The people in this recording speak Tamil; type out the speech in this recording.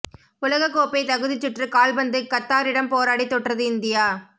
உலக கோப்பை தகுதிச்சுற்று கால்பந்து கத்தாரிடம் போராடி தோற்றது இந்தியா